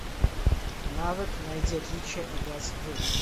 навык найди отличия играть в